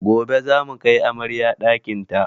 Gobe zamu kai amaryar ɗakin ta